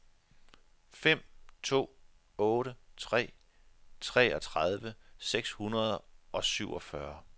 fem to otte tre treogtredive seks hundrede og syvogfyrre